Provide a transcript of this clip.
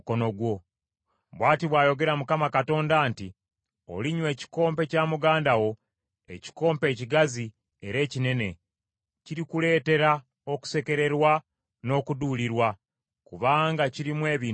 “Bw’ati bw’ayogera Mukama Katonda nti, “Olinywa ekikompe kya muganda wo, ekikompe ekigazi era ekinene; kirikuleetera okusekererwa n’okuduulirwa kubanga kirimu ebintu bingi.